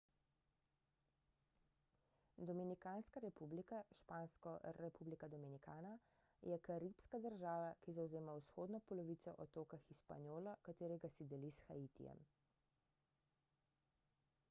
dominikanska republika špansko: república dominicana je karibska država ki zavzema vzhodno polovico otoka hispaniola katerega si deli s haitijem